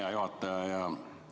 Hea juhataja!